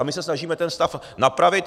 A my se snažíme ten stav napravit.